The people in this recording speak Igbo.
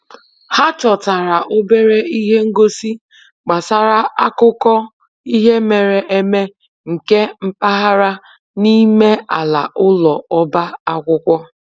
Ha chọtara obere ihe ngosi gbasara akụkọ ihe mere eme nke mpaghara n'ime ala ụlọ ọba akwụkwọ